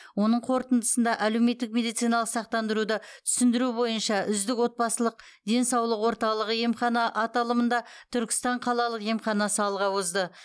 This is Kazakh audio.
оның қортындысында әлеуметтік медициналық сақтандыруды түсіндіру бойынша үздік отбасылық денсаулық орталығы емхана аталымында түркістан қалалық емханасы алға озды